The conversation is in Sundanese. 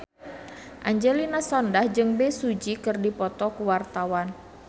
Angelina Sondakh jeung Bae Su Ji keur dipoto ku wartawan